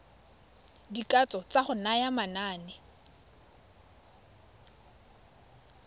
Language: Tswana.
dikatso tsa go naya manane